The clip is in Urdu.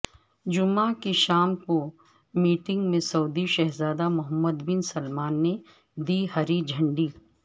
جمعہ کی شام کو میٹنگ میں سعودی شہزادہ محمد بن سلمان نے دی ہری جھنڈی